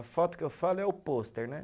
A foto que eu falo é o pôster, né?